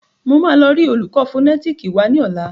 Máa lọ rí olùkọ́ fònẹ́tìkì wa ní ọ̀la